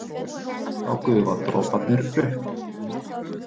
Þá gufa droparnir upp.